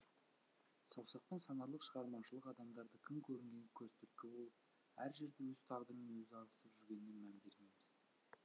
саусақпен санарлық шығармашылық адамдары кім көрінгенге көз түрткі болып әр жерде өз тағдырымен өзі алысып жүргеніне мән бермейміз